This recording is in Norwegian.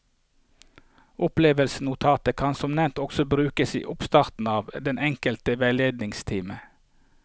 Opplevelsesnotatet kan som nevnt også brukes i oppstarten av den enkelte veiledningstime.